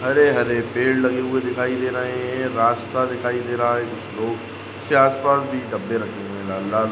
हरे-हरे पेड़ लगे हुए दिखाई दे रहा है। रास्ता दिखाई दे रहा है। जो इसके आसपास डब्बे रखे हुए लाल-लाल --